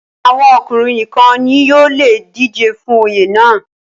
àwọn ọkùnrin nìkan ni yóò le dijé fún Oyè náà